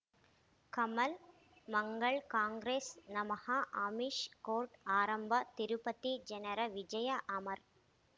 ಕಮಲ್ ಮಂಗಳ್ ಕಾಂಗ್ರೆಸ್ ನಮಃ ಅಮಿಷ್ ಕೋರ್ಟ್ ಆರಂಭ ತಿರುಪತಿ ಜನರ ವಿಜಯ ಅಮರ್